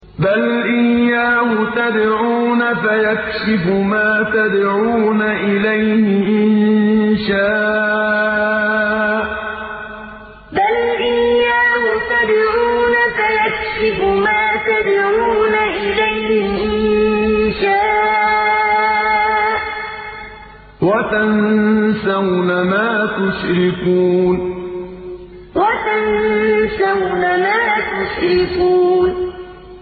بَلْ إِيَّاهُ تَدْعُونَ فَيَكْشِفُ مَا تَدْعُونَ إِلَيْهِ إِن شَاءَ وَتَنسَوْنَ مَا تُشْرِكُونَ بَلْ إِيَّاهُ تَدْعُونَ فَيَكْشِفُ مَا تَدْعُونَ إِلَيْهِ إِن شَاءَ وَتَنسَوْنَ مَا تُشْرِكُونَ